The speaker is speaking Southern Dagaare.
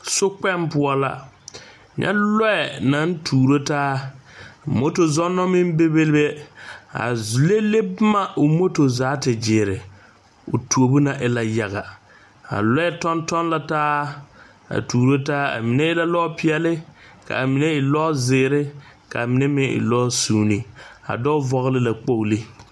Sokpoŋ poɔ la, nyɛ lɔɛ naŋ tuuro taa motor zonneba meŋ Bebe a lele boma o motor zaa te gyere o tuobo ŋa e la yaga,a lɔɛ toŋtoŋ la taa a tuuro taa, a mine e la lɔɔ pɛɛle ka a mine e lɔɔ zeɛre ka a mine meŋ e lɔɛ sunne, a dɔɔ vɔgeli la kpogilo